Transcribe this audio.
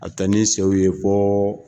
A bɛ taa ni sew ye fo